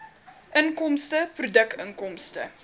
inkomste produkinkomste